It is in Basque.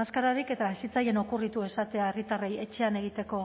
maskararik eta ez zitzaien okurritu esatea herritarrei etxean egiteko